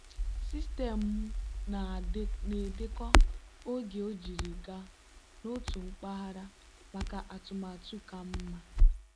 sistemu na-edekọ oge ojiri gaa n'otu mpaghara maka atụmatụ ka mma.